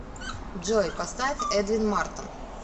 джой поставь эдвин мартон